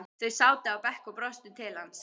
Þau sátu á bekk og brostu til hans.